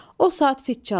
O saat fit çaldı.